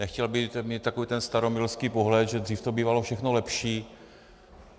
Nechtěl bych mít takový ten staromilský pohled, že dřív to bývalo všechno lepší.